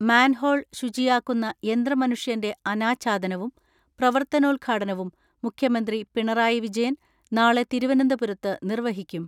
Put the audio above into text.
Manhole ശുചിയാക്കുന്ന യന്ത്രമനുഷ്യന്റെ അനാച്ഛാദനവും പ്രവർത്തനോദ്ഘാടനവും മുഖ്യമന്ത്രി പിണറായി വിജയൻ നാളെ തിരുവനന്തപുരത്ത് നിർവ്വഹിക്കും.